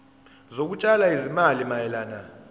zokutshala izimali mayelana